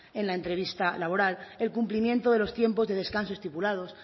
en la entrevista laboral el cumplimiento de los tiempos de descanso estipulados